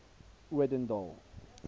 odendaal